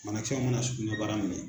Banakisɛ mana sugunɛbara minɛ